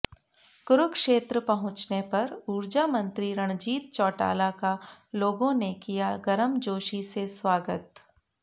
कुरुक्षेत्र पहुंचने पर ऊर्जा मंत्री रणजीत चौटाला का लोगों ने किया गर्मजोशी से स्वागत